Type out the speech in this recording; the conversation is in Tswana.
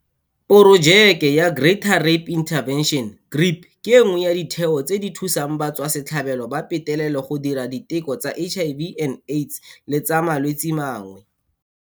Porojeke ya Greater Rape Intervention, GRIP, ke nngwe ya ditheo tse di thusang batswasetlhabelo ba petelelo go dira diteko tsa HIV-Aids le tsa malwetse mangwe.